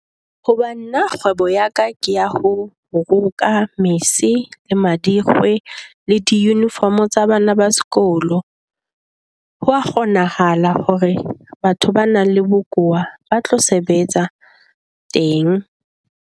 Hoba nna kgwebo ya ka ke ya ho roka mese le madikgwe le di-uniform tsa bana ba sekolo. Ho a kgonahala hore batho ba nang le bokowa ba tlo sebetsa teng.